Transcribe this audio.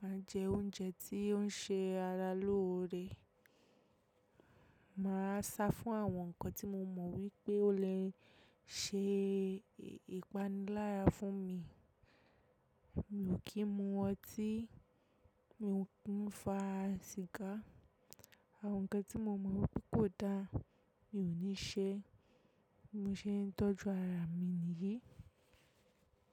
máa jẹ oúnjẹ tí ó ń ṣe ara lóore. Màá sá fún àwọn nǹkan tí mo mọ̀ wípé ó lè ṣe ìpanilárà fún mi. Mi ò kí ń mu ọtí, mi ò kí ń fa sìgá. Àwọn nǹkan tí mo mọ̀ wípé kò dáa, mi ò ní ṣe é. Mo ṣe ń tọ́jú ara mi nìyí.